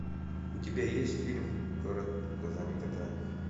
у тебя есть фильм город глазами кота